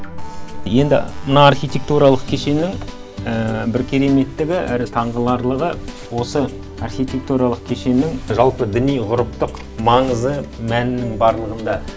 енді мына архитектуралық кешеннің бір кереметтігі әрі таңғаларлығы осы архитектуралық кешеннің жалпы діни ғұрыптық маңызы мәнінің барлығында